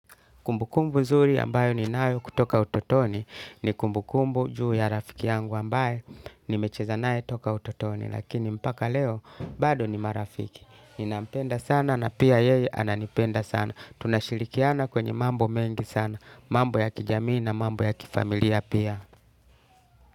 Kumbukumbu zuri ambayo ninayo kutoka utotoni ni kumbukumbu juu ya rafiki yangu ambaye nimecheza naye toka utotoni. Lakini mpaka leo bado ni marafiki. Ninampenda sana na pia yeye ananipenda sana. Tunashirikiana kwenye mambo mengi sana. Mambo ya kijamii na mambo ya kifamilia pia.